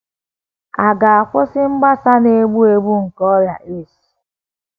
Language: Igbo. À ga - akwụsị mgbasa Na - egbu egbu nke ọrịa AIDS?